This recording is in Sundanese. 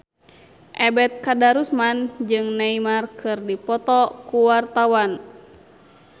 Ebet Kadarusman jeung Neymar keur dipoto ku wartawan